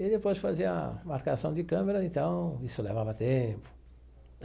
E depois fazer a marcação de câmera, então, isso levava tempo.